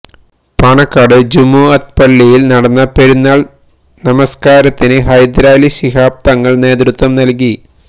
പാണക്കാട് ജുമുഅത്ത് പള്ളിയില് നടന്ന പെരുന്നാള് നമസ്കാരത്തിന് ഹൈദരലി ശിഹാബ് തങ്ങള് നേതൃത്വം നല്കി